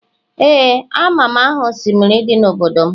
Ee amam aha osimiri di n'obodo m